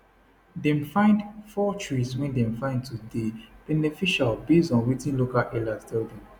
dem find four trees wey dem find to dey beneficial based on wetin local healers tell dem